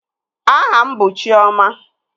Aha m bụ Chiọma